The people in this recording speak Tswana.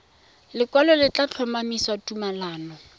lekwalo le tla tlhomamisa tumalano